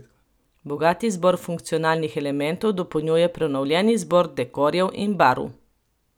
Bogat izbor funkcionalnih elementov dopolnjuje prenovljen izbor dekorjev in barv.